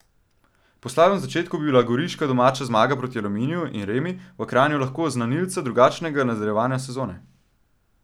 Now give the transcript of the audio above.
Po slabem začetku bi bila goriška domača zmaga proti Aluminiju in remi v Kranju lahko znanilca drugačnega nadaljevanja sezone.